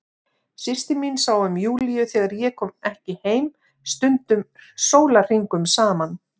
Systir mín sá um Júlíu þegar ég kom ekki heim, stundum sólarhringum saman.